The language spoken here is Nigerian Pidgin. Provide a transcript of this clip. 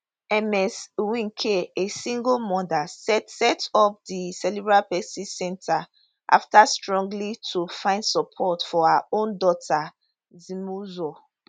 ms nweke a single mother set set up di cerebral palsy centre after struggling to find support for her own daughter zimuzo